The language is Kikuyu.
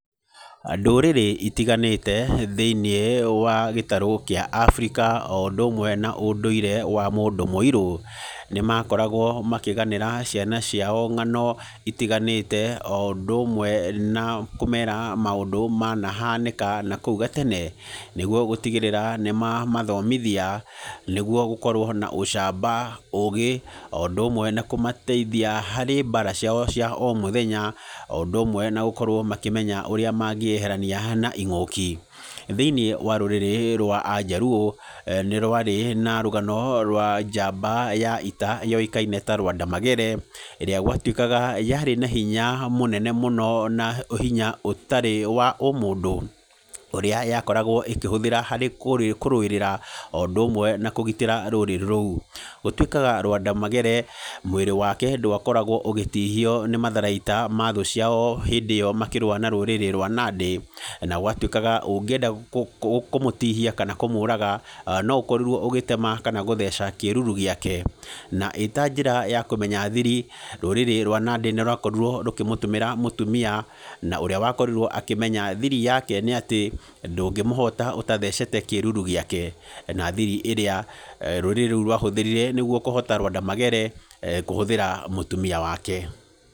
Ndũrĩrĩ itiganĩte thĩiniĩ wa gĩtarũ kĩa Africa, o ũndũ ũmwe na ũndũire wa mũndũ mũirũ. Nĩ maakoragwo makĩganĩra ciana ciao ng'ano itiganĩte, o ũndũ ũmwe na kũmeera maũndũ manahanĩka na kũu gatene. Nĩguo gũtigĩrĩra nĩ mamathomithia, nĩguo gũkorwo na ũcamba, ũũgĩ, o ũndũ ũmwe na kũmateithia harĩ mbaara ciao cia o mũthenya, o ũndũ ũmwe na gũkorwo makĩmenya ũrĩa mangĩeherania na ing'ũki. Thĩiniĩ wa rũrĩrĩ rwa Anjaluo, nĩ rwarĩ na rũgano rwa njamba ya ita, yoĩkaine ta Lwanda Magere, ĩrĩa gwatuĩkaga, yaarĩ na hinya mũnene mũnene mũno, na hinya ũtarĩ wa ũmũndũ. Ũrĩa yakoragwo ĩkĩhũthĩra harĩ kũrũĩrĩra, o ũndũ ũmwe na kũgitĩra rũrĩrĩ rũu. Gũtuĩkaga Lwanda Magere, mwĩrĩ wake ndwakoragwo ũgĩtihio nĩ matharaita ma thũ ciao hĩndĩ ĩyo makĩrũa na rũrĩrĩ rwa Nandi. Na gwatuĩkaga, ũngĩenda kũmũtihia kana kũmũraga, no ũkorirwo ũgĩtema kana gũtheca kĩruru gĩake. Na ĩĩ ta njĩra ya kũmenya thiri, rũrĩrĩ rwa Nandi nĩ rwakorirwo rũkĩmũtũmĩra mũtumia, na ũrĩa wakorirwo akĩmenya thiri yake nĩ atĩ, ndũngĩmũhota ũtathecete kĩruru gĩake. Na thiri ĩrĩa rũrĩrĩ rũu rwahũthirire nĩguo kũhoota Lwanda Magere, kũhũthĩra mũtumia wake.